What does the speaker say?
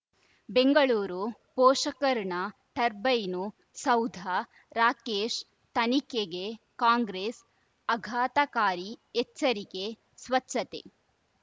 ಬೆಂಗಳೂರು ಪೋಷಕ ಋಣ ಟರ್ಬೈನು ಸೌಧ ರಾಕೇಶ್ ತನಿಖೆಗೆ ಕಾಂಗ್ರೆಸ್ ಆಘಾತಕಾರಿ ಎಚ್ಚರಿಕೆ ಸ್ವಚ್ಛತೆ